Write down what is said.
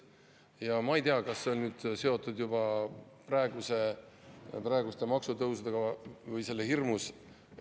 Ja ma ei tea, kas see on seotud juba praeguste maksutõusudega või selle hirmus.